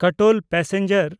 Katol passenger